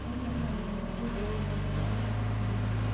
राहुल गांधी यांना श्रीनगर विमानतळावरून परत पाठवण्यात आलं होतं